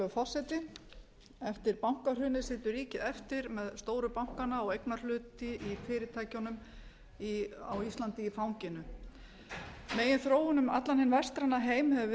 virðulegur forseti eftir bankahrunið situr ríkið eftir með stóru bankana og eignarhluti í fyrirtækjunum á íslandi í fanginu meginþróun um allan hinn vestræna heim hefur verið í öfuga